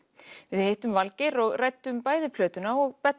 við hittum Valgeir og ræddum bæði plötuna og